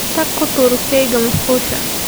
Tag ku tuur shayga musqusha.